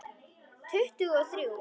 Tuttugu og þrjú!